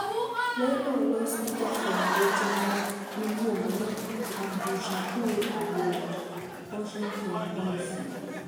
Lendo olos gi jafwamb weche wa miluongo ni Abdushakur Aboud, Washington, DC.